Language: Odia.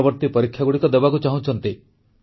ପରବର୍ତ୍ତୀ ପରୀକ୍ଷାଗୁଡ଼ିକ ଦେବାକୁ ଚାହୁଁଛନ୍ତି